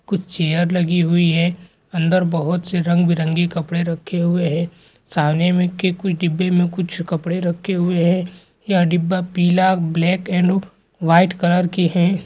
कुछ चेयर लगी हुई है अन्दर बहुत से रंग बिरंगे कपड़े रखे हुए है सामने में के कुछ डिब्बे में कुछ कपड़े रखे हुए है यहाँ डिब्बा पीला ब्लैक येलो वाइट कलर के हैं ।